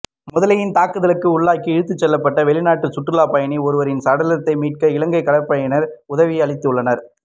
முதலையின் தாக்குதலுக்கு உள்ளாகி இழுத்துச் செல்லப்பட்ட வெளிநாட்டு சுற்றுலாப்பயணி ஒருவரின் சடலத்தினை மீட்க இலங்கை கடற்படையினர் உதவியளித்துள்ளனர்